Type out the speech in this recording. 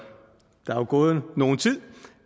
gået nogen tid